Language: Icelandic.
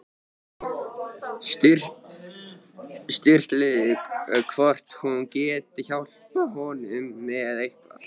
Sturlu hvort hún geti hjálpað honum með eitthvað.